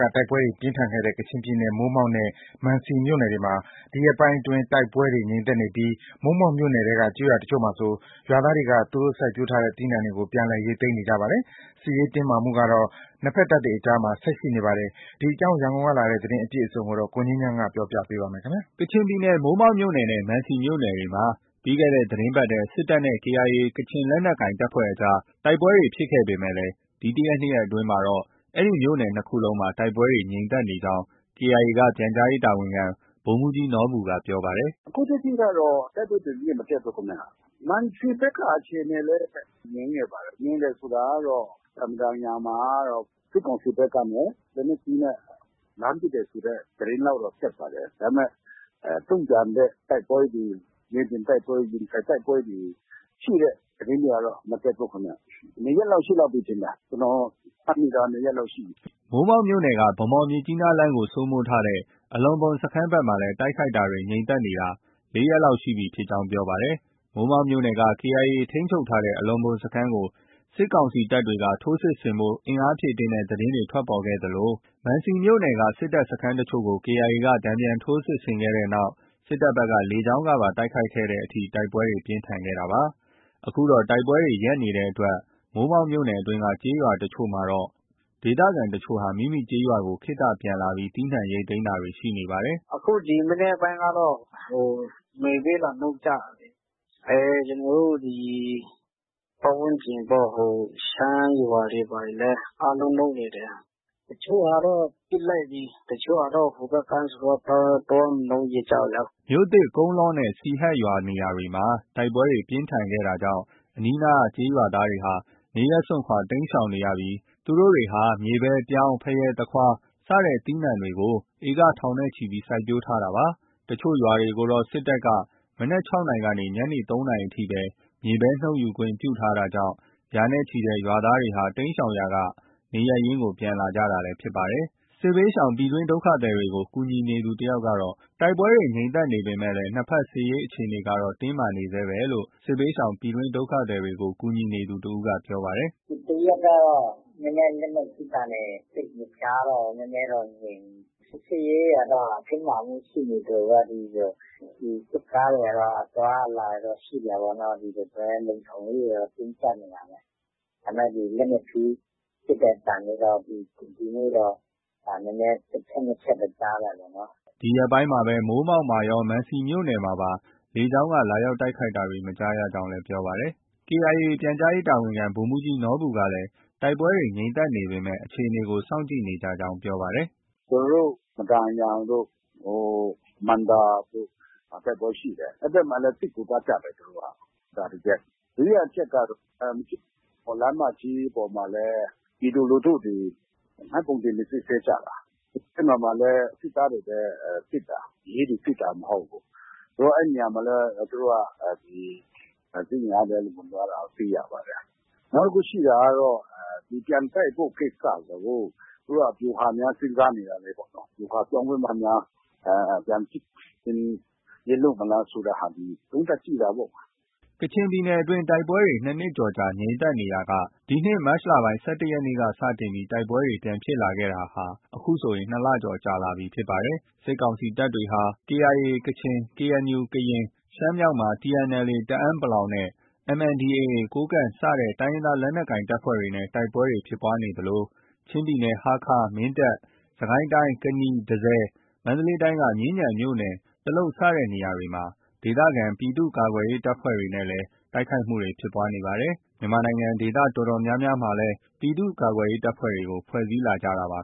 က တိုက်ပွဲတွေ ပြင်းထန်ခဲ့တဲ့ ကချင်ပြည်နယ် မိုးမောက်နဲ့ မံစီမြို့နယ်တွေမှာ ဒီရက်ပိုင်းအတွင်း တိုက်ပွဲတွေ ငြိမ်သက်နေပြီး မိုးမောက်မြို့နယ်ထဲက ကျေးရွာတချို့မှာဆို ရွာသားတွေက သူတို့ စိုက်ပျိုးထားတဲ့ သီးနှံတွေကို ပြန်လည် ရိတ်သိမ်းနေကြပါတယ်။ စစ်ရေးတင်းမာမှုကတော့ နှစ်ဘက်တပ်တွေအကြားမှာ ဆက်ရှိနေပါတယ်။ ဒီအကြောင်း ရန်ကုန်ကလာတဲ့ သတင်းအပြည့်အစုံကို ကိုငြိမ်းချမ်း တင်ပြထားပါတယ်။ ကချင်ပြည်နယ် မိုးမောက်မြို့နယ်နဲ့ မံစီမြို့နယ်တွေမှာ ပြီးခဲ့တဲ့ သီတင်းပတ်ထဲ စစ်တပ်နဲ့ ကေအိုင်အေ ကချင်လက်နက်ကိုင်အဖွဲ့တွေကြား တိုက်ပွဲတွေ ဖြစ်ခဲ့ပေမဲ့ ဒီတစ်ရက်၊နှစ်ရက်အတွင်းမှာတော့ အဲဒီမြို့နယ် ၂ ခုလုံးမှာ တိုက်ပွဲတွေ ငြိမ်သက်နေကြောင်း KIA က ပြန်ကြားရေးတာဝန်ခံ ဗိုလ်မှူးကြီးနော်ဘူက ပြောပါတယ်။ “အခုထက်ထိကတော့ တိုက်ပွဲသတင်းတွေ မတက်ဘူးခင်ဗျ။ မံစီဘက်က အခြေအနေလည်း ငြိမ်နေပါတယ်။ ငြိမ်တယ်ဆိုတာကတော့ မဒန်ယန်မှာကတော့ စစ်ကောင်စီဘက်ကနေ လက်နက်ကြီးနဲ့ လှမ်းပစ်တယ်ဆိုတဲ့ သတင်းလောက်တော့ တက်ပါတယ်။ ဒါပေမဲ့ တုံ့ပြန်တဲ့ တိုက်ပွဲတွေ၊ မြေပြင်တိုက်ပွဲ၊ ရင်ဆိုင်တိုက်ပွဲတွေ ရှိတဲ့ သတင်းတွေကတော့ မတက်ဘူးခင်ဗျ။ ၂ ရက်လောက် ရှိလောက်ပြီထင်တယ်။ ကျနော် မှတ်မိတာကတော့ ၂ ရက်လောက် ရှိပြီ။” မိုးမောက်မြို့နယ်က ဗန်းမော်- မြစ်ကြီးနားလမ်းကို စိုးမိုးထားတဲ့ အလော့ဘွမ်စခန်းဘက်မှာလည်း တိုက်ခိုက်တာတွေ ငြိမ်သက်နေတာ ၄ ရက် လောက်ရှိကြောင်း ပြောပါတယ်။ မိုးမောက်မြို့နယ်က KIA ထိန်းချုပ်ထားတဲ့ အလော့ဘွမ်စခန်းကို စစ်ကောင်စီတပ်တွေက ထိုးစစ်ဆင်ဖို့ အင်အားဖြည့်တင်းတဲ့သတင်းတွေ ထွက်ပေါ်ခဲ့သလို မန်စီမြို့နယ်က စစ်တပ်စခန်းတချို့ကို KIA က တန်ပြန်ထိုး စစ်ဆင်ခဲ့တဲ့နောက် စစ်တပ်ဘက်က လေကြောင်းကပါ တိုက်ခိုက်တဲ့အထိ တိုက်ပွဲတွေ ပြင်းထန်ခဲ့တာပါ။ အခုတော့ တိုက်ပွဲတွေ ရပ်နေတဲ့အတွက် မိုးမောက်မြို့နယ်အတွင်းက ကျေးရွာတချို့မှာတော့ ဒေသခံတချို့ဟာ မိမိကျေးရွာကို ခေတ္တပြန်လာပြီး သီးနှံ ရိတ်သိမ်းတာတွေ ရှိနေပါတယ်။ “ဒီ ၃၊ ၄ ရက် အခြေအနေကတော့ ငြိမ်တယ်။ အခု ရွာမှာ။ အခု ဒီမနက်ပိုင်းကတော့ မြေပဲ လာနှုတ်ကြတာလေ။ ကျနော်တို့ ဒီ ပတ်ဝန်းကျင်ပေါ့။ ဟို ရှမ်းရွာတွေ ဘာတွေလည်း အားလုံးနုတ်နေတယ်။ တချို့ဟာတော့ ပစ်လိုက်ပြီ။ တချို့ဟာတော့ ဟိုဘက်ကမ်းဆိုတော့ သွား မနုတ်ရဲကြဘူးလေ။” မြို့သစ်၊ ကုန်းလောနဲ့ စီဟတ်ရွာစတဲ့ နေရာတွေမှာ တိုက်ပွဲပြင်းထန်ခဲ့တာကြောင့် အနီးအနားကျေးရွာသားတွေဟာ နေရပ်စွန့်ခွာ တိမ်းရှောင်နေရပြီး သူတို့တွေဟာ မြေပဲ၊ ပြောင်း၊ ဖရဲ၊ သခွား စတဲ့ သီးနှံတွေကို စိုက်ပျိုးထားတဲ့ ဧက ထောင်ချီပြီး စိုက်ပျိုးထားကြတာလည်း ဖြစ်ပါတယ်။တချို့ရွာတွေကိုတော့ စစ်တပ်က မနက် ၆ နာရီကနေ ညနေ ၃ နာရီအထိ မြေပဲ နုတ်ယူခွင့်ပြုထားတာကြောင့် ရာနဲ့ချီတဲ့ ရွာသားတွေဟာ တိမ်းရှောင်ရာကနေ နေရပ်ရင်း ပြန်လာနေကြတာလည်း ဖြစ်ပါတယ်။ စစ်ဘေးရှောင် ပြည်တွင်းဒုက္ခသည်တွေကို ကူညီနေသူ တယောက်ကတော့ တိုက်ပွဲတွေ ငြိမ်သက်နေပဲမှာ နှစ်ဘက် စစ်ရေးအခြေအနေကတော့ တင်းမာနေဆဲရှိတယ်လို့ ပြောပါတယ်။ “ဒီတစ်ရက်ကတော့ လက်နက်ကြီးသံတွေ သိပ်မကြားတော့ဘူး။ နည်းနည်းတော့ ငြိမ်နေတယ်။ စစ်ရေးအခြေအနေကတော့ တင်းမာမှု ရှိနေသလိုပဲ။ စစ်ကားတွေကတော့ အသွားအလာတွေတော့ ရှိနေတာပဲ။ ဒီလိုပဲ လုံခြုံရေးအခြေအနေကတော့ တင်းကြပ်နေတာပဲ။ ဒါပေမဲ့ လက်နက်ကြီးပစ်တဲ့အသံတွေတော့ ဒီနေ့တော့ တစ်ချက်၊ နှစ်ချက်ပဲ ကြားတာပေါ့နော်။ အဲဒီလိုလေးတော့ ရှိတယ်။” ဒီရက်ပိုင်းမှာ မိုးမောက်ရော မံစီမြို့နယ်မှာပါ လေကြောင်းက လာရောက် တိုက်ခိုက်တာတွေ မကြားရကြောင်း ပြောပါတယ်။ KIA ပြန်ကြားရေးတာဝန်ခံ ဗိုလ်မှူးကြီးနော်ဘူကလည်း တိုက်ပွဲတွေ ငြိမ်သက်နေပေမဲ့ အခြေအနေကို စောင့်ကြည့်နေကြကြောင်း ပြောပါတယ်။ “ကျနော်တို့ မဒန်ယန်တို့ ဟို မံဒါတို့ဘက်မှာ တိုက်ပွဲရှိတယ်။ အဲဒီဘက်မှာလည်း စစ်ကူသွားကြတယ် သူတို့က။ ဒါ တစ်ချက်။ ဒုတိယတစ်ချက်ကတော့ မြစ်ကြီးနား - ဗန်းမော်လမ်းမကြီးပေါ်မှာလည်း ပြည်သူလူထုတွေ မှတ်ပုံတင်တွေ စစ်ဆေးကြတာ။ အဲဒီမှာလည်း စစ်သားတွေပဲ စစ်တာ။ ရဲတွေ စစ်တာ မဟုတ်ဘူး။ အဲဒီနေရာမှာလည်း သူတို့က ဒီ စစ်အင်အားတွေ ဝင်သွားတာ တွေ့ရပါတယ်။ နောက် တစ်ခု ရှိတာကတော့ ပြန်တိုက်ဖို့ ကိစ္စကို သူတို့က ဗျူဟာများ စဉ်းစားနေတာလားပေါ့နော်။ ဗျူဟာပြောင်းပြီးမှများ ပြန်စစ်ဆင်ရေး လုပ်မလားဆိုတဲ့ဟာတွေ သုံးသပ်ကြည့်တာပေါ့။” ကချင်ပြည်နယ်အတွင်းမှာ တိုက်ပွဲတွေ ၂ နှစ်ကျော်ကြာ ငြိမ်သက်နေရာက ဒီနှစ် မတ်လ ၁၁ရက်နေ့က စတင်ပြီး တိုက်ပွဲတွေ ပြန်ဖြစ်လာတာဟာ အခုဆို ၂ လကျော်ကြာလာပြီဖြစ်ပါတယ်။ စစ်ကောင်စီတပ်တွေဟာ KIA ကချင်၊ KNU ကရင်၊ ရှမ်းမြောက်မှာ TNLA တအန်း (ပလောင်) နဲ့ MNDAA ကိုးကန့် စတဲ့ တိုင်းရင်းသားလက်နက်ကိုင်အဖွဲ့တွေနဲ့ တိုက်ပွဲတွေ ဖြစ်နေသလို၊ ချင်းပြည်နယ် ဟားခါး၊ မင်းတပ်၊ စစ်ကိုင်းတိုင်း ကနီ၊ တန့်ဆည်၊ မန္တလေးတိုင်းက မြင်းခြံမြို့နယ် တလုပ်စတဲ့နေရာတွေက ဒေသကာကွယ်ရေး ပြည်သူ့ကာကွယ်ရေးအဖွဲ့တွေနဲ့လည်း တိုက်ခိုက်မှုတွေ ဖြစ်နေပါတယ်။ ဒေသတော်တော်များများမှာလည်း ပြည်သူ့ကာကွယ်ရေးတပ်ဖွဲ့တွေကို ဖွဲ့စည်းလာကြပါ